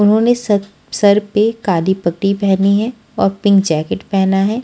उन्होंने सत सर पे काली पट्टी पहनी है और पिंक जैकेट पेहना है।